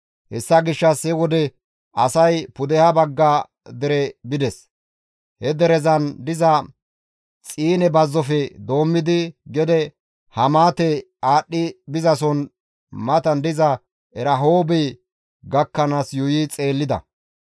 Hessa gishshas he wode asay pudeha bagga dere bides; he derezan diza Xiine bazzofe doommidi gede Hamaate aadhdhi bizasoza matan diza Erahoobe gakkanaas yuuyi xeellida.